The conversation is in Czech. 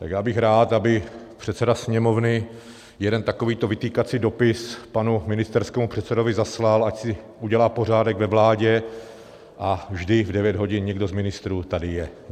Tak já bych rád, aby předseda Sněmovny jeden takovýto vytýkací dopis panu ministerskému předsedovi zaslal, ať si udělá pořádek ve vládě a vždy v 9 hodin někdo z ministrů tady je.